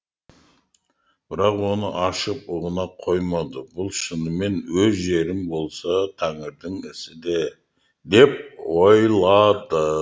бірақ оны шал ұғына қоймады бұл шынымен өз жерім болса тәңірдің ісі де деп ойлады